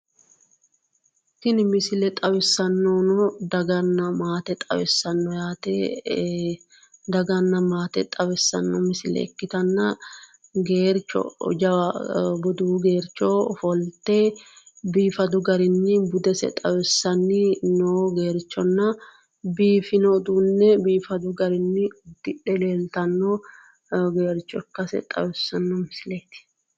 Tini misile xawissannohu daganna maate xawissanno misileeti ikkitanna geercho jawa bufu geercho ofolte biifado uduunne biifadu garinni uddidhe leeltanno geercho ikkase xawissanno misileeti